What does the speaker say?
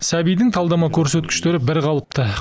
сәбидің талдама көрсеткіштері бірқалыпты